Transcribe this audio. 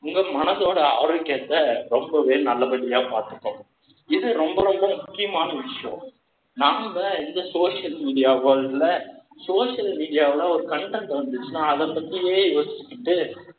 மாத்தும். உங்க மனசோட ஆரோக்கியத்த ரொம்பவே நல்லபடியா பார்த்துக்கும் இது ரொம்ப ரொம்ப முக்கியமான விஷயம். நாம, இந்த social media world ல, social media வுல, ஒரு content வந்துச்சுன்னா, அதை பத்தியே யோசிச்சுக்கிட்டு